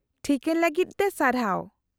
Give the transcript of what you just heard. -ᱴᱷᱤᱠᱟᱹᱱ ᱞᱟᱹᱜᱤᱫ ᱛᱮ ᱥᱟᱨᱦᱟᱣ ᱾